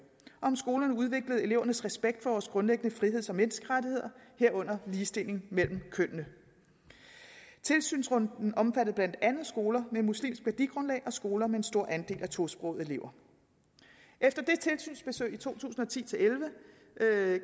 om skolerne udviklede elevernes respekt for vores grundlæggende friheds og menneskerettigheder herunder ligestilling mellem kønnene tilsynsrunden omfattede blandt andet skoler med muslimsk værdigrundlag og skoler med en stor andel af tosprogede elever efter de tilsynsbesøg i to tusind og ti til elleve